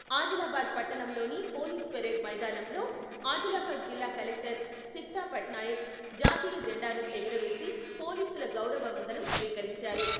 ఆదిలాబాద్ పట్టణంలోని police parade మైదానంలో ఆదిలాబాద్ జిల్లా కలెక్టర్ సిక్తా పట్నాయక్ జాతీయ జెండాను ఎగురవేసి పొలిసుల గౌరవ వందనం స్వీకరించారు.